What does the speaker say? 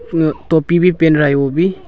तो टोपी भी पहन रहा है वो भी--